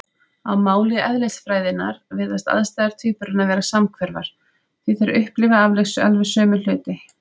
Á máli eðlisfræðinnar virðast aðstæður tvíburanna vera samhverfar, því þeir upplifa alveg sömu hluti.